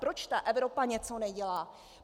Proč ta Evropa něco nedělá?